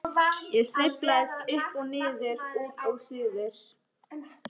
Ég sveiflast upp og niður, út og suður.